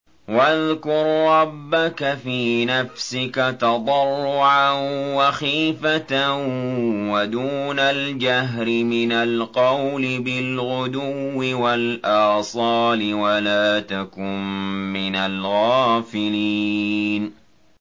وَاذْكُر رَّبَّكَ فِي نَفْسِكَ تَضَرُّعًا وَخِيفَةً وَدُونَ الْجَهْرِ مِنَ الْقَوْلِ بِالْغُدُوِّ وَالْآصَالِ وَلَا تَكُن مِّنَ الْغَافِلِينَ